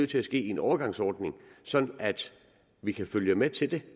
til at ske i en overgangsordning sådan at vi kan følge med til det